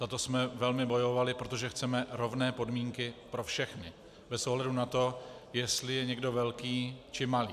Za to jsme velmi bojovali, protože chceme rovné podmínky pro všechny, bez ohledu na to, jestli je někdo velký, či malý.